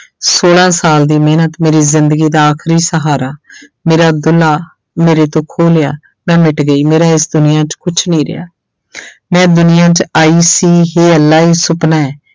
ਛੋਲਾਂ ਸਾਲ ਦੀ ਮਿਹਨਤ, ਮੇਰੀ ਜ਼ਿੰਦਗੀ ਦਾ ਆਖਰੀ ਸਹਾਰਾ ਮੇਰਾ ਦੁਲਾ ਮੇਰੇ ਤੋਂ ਖੋਹ ਲਿਆ, ਮੈਂ ਮਿੱਟ ਗਈ, ਮੇਰਾ ਇਸ ਦੁਨੀਆਂ 'ਚ ਕੁਛ ਨਹੀਂ ਰਿਹਾ ਮੈਂ ਦੁਨੀਆਂ 'ਚ ਆਈ ਸੀ ਹੇ ਅੱਲਾ ਇਹ ਸੁਪਨਾ ਹੈ।